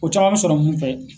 O caman mɛ sɔrɔ mun fɛ